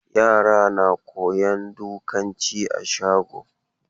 Yara na koyon dukanci a shago.